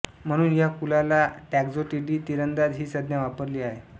म्हणून या कुलाला टॉक्झोटिडी तिरंदाज ही संज्ञा वापरली आहे